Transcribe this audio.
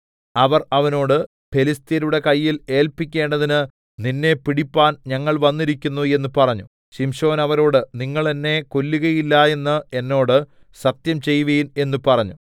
അവർ അവനോട് ഫെലിസ്ത്യരുടെ കയ്യിൽ ഏല്പിക്കേണ്ടതിന് നിന്നെ പിടിപ്പാൻ ഞങ്ങൾ വന്നിരിക്കുന്നു എന്ന് പറഞ്ഞു ശിംശോൻ അവരോട് നിങ്ങൾ എന്നെ കൊല്ലുകയില്ല എന്ന് എന്നോട് സത്യം ചെയ്‌വിൻ എന്ന് പറഞ്ഞു